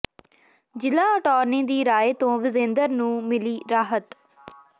ਜ਼ਿਲ੍ਹਾ ਅਟਾਰਨੀ ਦੀ ਰਾਏ ਤੋਂ ਵਿਜੇਂਦਰ ਨੂੰ ਮਿਲੀ ਰਾਹਤ